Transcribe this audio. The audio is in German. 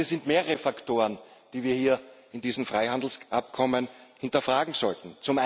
Es sind mehrere Faktoren, die wir hier in diesem Freihandelsabkommen hinterfragen sollten.